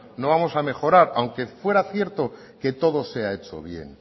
no vamos a mejorar aunque fuera cierto que todo se ha hecho bien